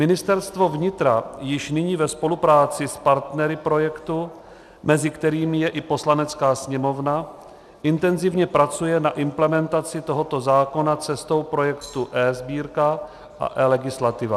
Ministerstvo vnitra již nyní ve spolupráci s partnery projektu, mezi kterými je i Poslanecká sněmovna, intenzivně pracuje na implementaci tohoto zákona cestou projektu eSbírka a eLegislativa.